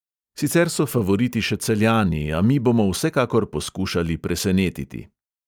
Sicer so favoriti še celjani, a mi bomo vsekakor poskušali presenetiti.